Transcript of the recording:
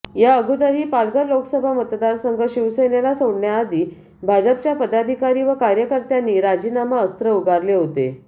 या अगोदरही पालघर लोकसभा मतदारसंघ शिवसेनेला सोडण्याआधी भाजपच्या पदाधिकारी व कार्यकर्त्यांनी राजीनामा अस्त्र उगारले होते